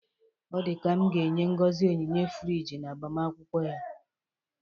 Ọ dịka m ga-enye Ngozi onyinye friji n'agbamakwụkwọ ya.